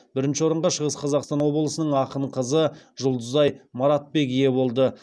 бірінші орынға шығыс қазақстан облысының ақын қыз жұлдызай маратбек ие болды